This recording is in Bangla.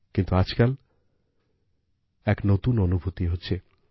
কিন্তু আজকাল এক নতুন অনুভূতি হচ্ছে